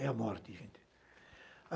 É a morte, gente.